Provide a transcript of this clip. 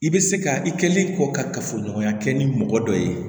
I bɛ se ka i kɛlen kɔ ka kafoɲɔgɔnya kɛ ni mɔgɔ dɔ ye